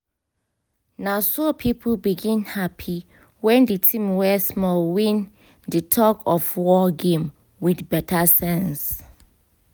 naso people begin happy when di team wey small win di tug of war game with beta sense